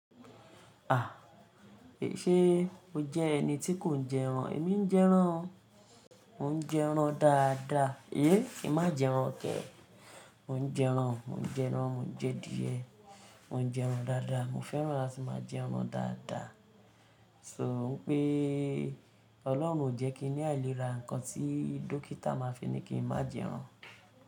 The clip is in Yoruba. À, è ṣe o jẹ́ ẹni tí kò ń jẹ́ran? Èmi ń jẹ́ran o. Mò ń jẹ́ran dáadáa. Yéé, kin má jẹ́ran kẹ. Mò ń jẹ́ran, mò ń jẹ́ran, mò ń jẹ diẹ̀, mò ń jẹ́ran dáadáa. Mo fẹ́ran láti máa jẹ́ran dáadáa. So pé Ọlọ́run ò jẹ́ kí i ní àìlera nǹkan tí dókítà máa fi ní kí n má jẹ́ran.